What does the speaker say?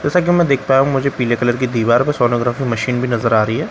जैसा की मैं देख पाया हूँ मुझे पीले कलर की दिवार पर सोनोग्राफी की मशीन भी नजर आ रही हैं।